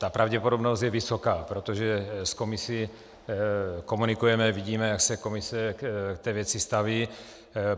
Ta pravděpodobnost je vysoká, protože s Komisí komunikujeme, vidíme, jak se Komise k té věci staví.